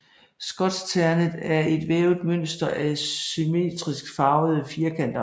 Skotskternet er et vævet mønster af symmetrisk farvede firkanter